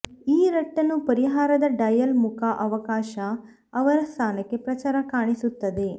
ಈ ರಟ್ಟನ್ನು ಪರಿಹಾರದ ಡಯಲ್ ಮುಖ ಅವಕಾಶ ಅವರ ಸ್ಥಾನಕ್ಕೆ ಪ್ರಚಾರ ಕಾಣಿಸುತ್ತದೆ